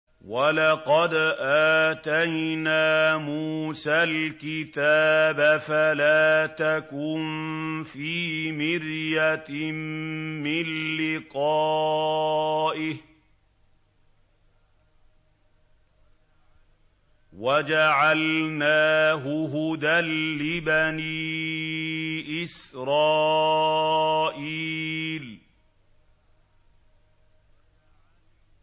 وَلَقَدْ آتَيْنَا مُوسَى الْكِتَابَ فَلَا تَكُن فِي مِرْيَةٍ مِّن لِّقَائِهِ ۖ وَجَعَلْنَاهُ هُدًى لِّبَنِي إِسْرَائِيلَ